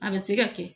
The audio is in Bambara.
A bɛ se ka kɛ